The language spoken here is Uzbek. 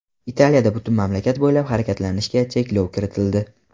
Italiyada butun mamlakat bo‘ylab harakatlanishga cheklov kiritildi.